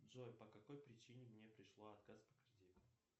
джой по какой причине мне пришел отказ по кредиту